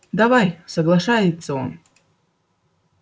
давай соглашается он